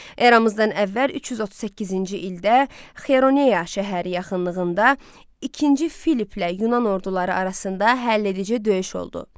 Eramızdan əvvəl 338-ci ildə Xeyronea şəhəri yaxınlığında ikinci Filiplə Yunan orduları arasında həll edici döyüş oldu.